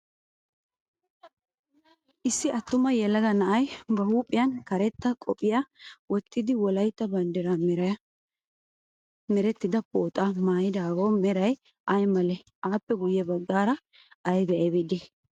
Issi attuma yelaga na"ay ba huuphiyan karetta qophiya wottidi wolayitta banddiraa meran merettida pooxaa maayidaagaw meray ay malee? Aappe guyye baggara aybay aybay de"ii?